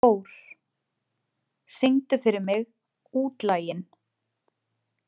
Thór, syngdu fyrir mig „Útlaginn“.